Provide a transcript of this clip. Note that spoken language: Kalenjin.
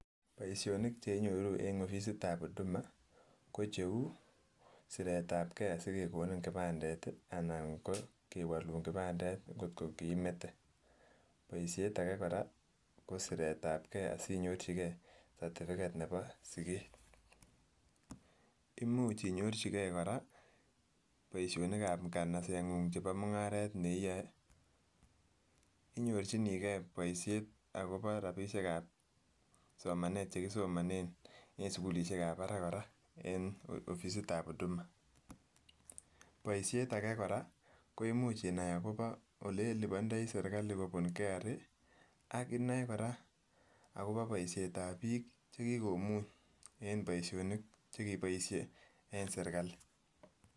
Boishoni cheinyoruu en offisit tab uduma kocheu siret tab gee sikekoni kipandet tii anan ko kewolun kipandet ngotko kiimete, boishet age kosiret tab gee asinyorchigee certificate nebo siget, imuch inyorchi gee koraa boishonik ab inkanasenguny chebo mungaret ne iyoe, inyorchinii gee boishet akopo rabishek ab somanet chekisomonen en sukulishek ab barak koraa en offisit tab uduma, boishet age koraa koimuch inai akopo ole ilipondoi sirkali kopun KRA ak inoe koraa akopo boishet ab biik chekikomuny en boishonik chekiboishe en sirkali.